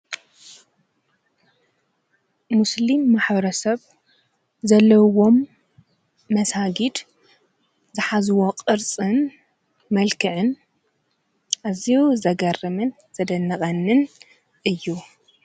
ሙስሊም ማኅረ ሰብ ዘለውዎም መሳጊድ ዝኃዝዎ ቕርጽን መልክዕን እዚዩ ዘገርምን ዘደነቐንን እዩ።